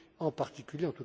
en particulier,